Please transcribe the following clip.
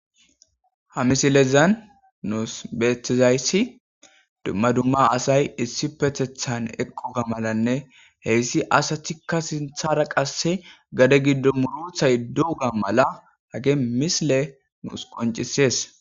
Ha misilezan nuus beetizayssi dumma dumma asay issi pethethan eqquka malanne heyssi asatikka sinthara qasse gade giddo muruthayduuga mala hage misile nuus qoncisees.